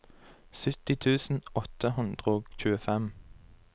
sytti tusen åtte hundre og tjuefem